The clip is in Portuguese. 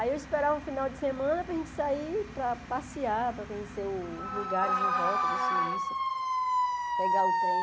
Aí eu esperava o final de semana para a gente sair para passear, para conhecer os lugares em volta da Suíça, pegar o trem.